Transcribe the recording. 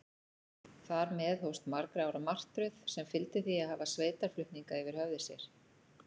Þar með hófst margra ára martröð, sem fyldi því að hafa sveitarflutninga yfir höfði sér.